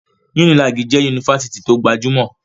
Unilag jẹ́ Yunifásitì tó gbajúmọ̀.